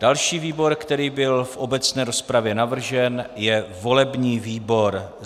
Další výbor, který byl v obecné rozpravě navržen, je volební výbor.